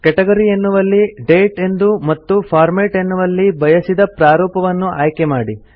category ಎನ್ನುವಲ್ಲಿ date ಎಂದು ಮತ್ತು ಫಾರ್ಮ್ಯಾಟ್ ಎನ್ನುವಲ್ಲಿ ಬಯಸಿದ ಪ್ರಾರೂಪವನ್ನು ಆಯ್ಕೆ ಮಾಡಿ